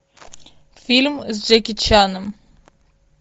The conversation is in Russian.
фильм с джеки чаном